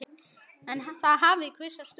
En það hafi kvisast út.